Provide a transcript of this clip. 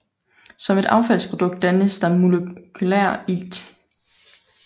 Som et affaldsprodukt dannes der molekylær ilt